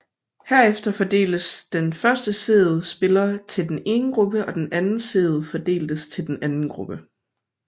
Herefter fordeltes den første seedede spiller til den ene gruppe og den anden seedede fordeltes til den anden gruppe